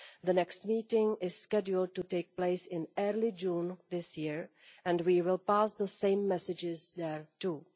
The next meeting is scheduled to take place in early June this year, and we will pass the same messages there too.